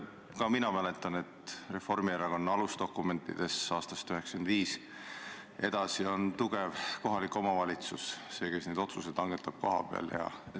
Ka mina mäletan, et Reformierakonna alusdokumentides aastast 1995 ja edasi on kirjas, et tugev kohalik omavalitsus on see, kes neid otsuseid kohapeal langetab.